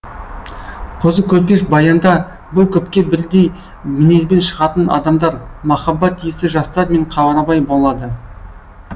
қозы көрпеш баянда бұл көпке бірдей мінезбен шығатын адамдар махаббат иесі жастар мен қарабай болады